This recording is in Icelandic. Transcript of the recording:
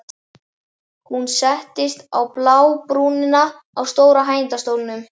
Hún settist á blábrúnina á stóra hægindastólnum.